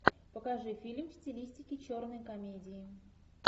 покажи фильм в стилистике черной комедии